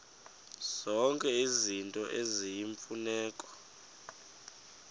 zonke izinto eziyimfuneko